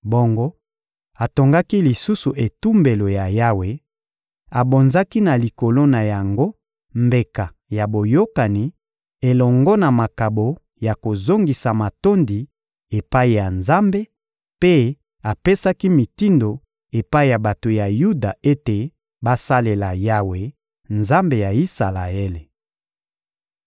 Bongo atongaki lisusu etumbelo ya Yawe, abonzaki na likolo na yango mbeka ya boyokani elongo na makabo ya kozongisa matondi epai ya Nzambe, mpe apesaki mitindo epai ya bato ya Yuda ete basalela Yawe, Nzambe ya Isalaele.